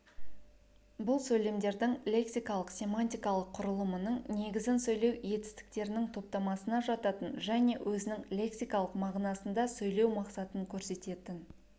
бұл сөйлемдердің лексикалық-семантикалық құрылымының негізін сөйлеу етістіктерінің топтамасына жататын және өзінің лексикалық мағынасында сөйлеу мақсатын көрсететін